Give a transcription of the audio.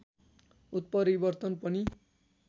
उत्परिवर्तन पनि